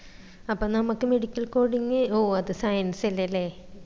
അപ്പം നമ്മക്ക് medical coding ഓ അത് science അല്ലെ അല്ലെ